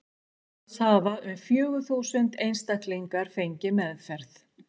Alls hafa um fjögur þúsund einstaklingar fengið meðferð.